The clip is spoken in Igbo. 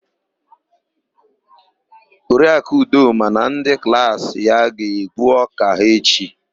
Oriaku Udoma na ndị klaasị ya ga-egbu ọ́kà ha echi.